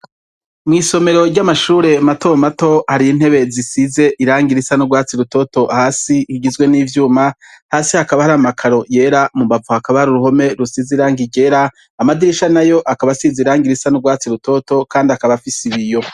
Mw'isomero ry'amashure matomato hari intebe zisize irangi risa n'urwatsi rutoto hasi rigizwe n'ivyuma, hasi hakaba hari amakaro yera, mu mbavu hakaba uruhome rusize irangi ryera, amadirisha nayo akaba asize irangi risa n'urwatsi rutoto kandi akaba afise ibiyo.